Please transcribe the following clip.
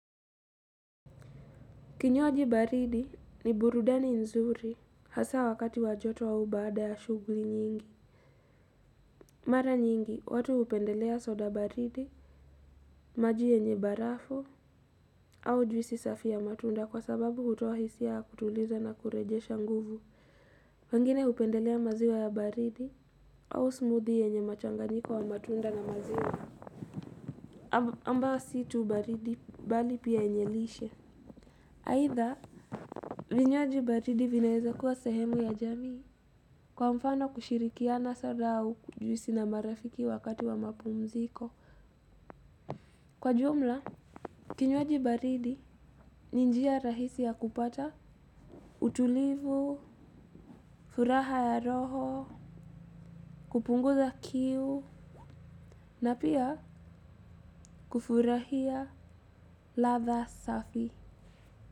Kinywaji baridi ni burudani nzuri hasa wakati wa joto au baada ya shughuli nyingi. Mara nyingi, watu hupendelea soda baridi, maji yenye barafu au juisi safi ya matunda kwa sababu hutoa hisia ya kutuliza na kurejesha nguvu. Wengine hupendelea maziwa ya baridi au smoothie yenye machanganyiko wa matunda na maziwa. Ambayo si tu baridi bali pia yenye lishe. Aidha, vinywaji baridi vinaweza kuwa sehemu ya jamii. Kwa mfano kushirikiana soda au juisi na marafiki wakati wa mapumziko. Kwa jumla, kinywaji baridi ni njia rahisi ya kupata utulivu, furaha ya roho, kupunguza kiu, na pia kufurahia ladha safi.